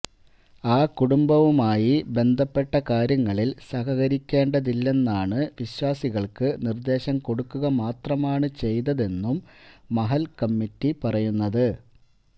ആ കുടുംബവുമായി ബന്ധപ്പെട്ട കാര്യങ്ങളില് സഹകരിക്കേണ്ടതില്ലെന്നാണ് വിശ്വാസികള്ക്ക് നിര്ദ്ദേശം കൊടുക്കുക മാത്രമാണ് ചെയ്തതെന്നും മഹല്ല് കമ്മിറ്റി പറയുന്നത്